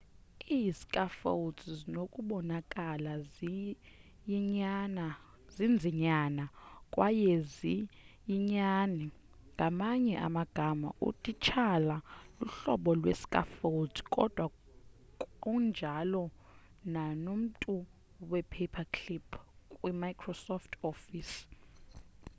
ii-scaffolds zinokubonakala ziyinyani kwaye ziyinyani ngamanye amagama utitshala luhlobo lwe-scaffold kodwa kunjalo nanomntu we-paperclip kwi-microsoft office